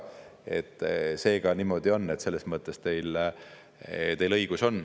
ja selles mõttes teil on õigus.